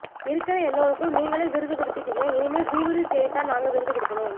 இருக்குற எல்லோருக்கும் நீங்களே விருது குடுதிட்டீங்க இனிமேல் கூகிளில் தேடித்தான் நாங்க விருது குடுக்கணும்